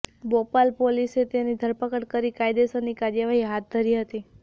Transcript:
બોપલ પોલીસે તેની ધરપકડ કરી કાયદેસરની કાર્યવાહી હાથ ધરી હતી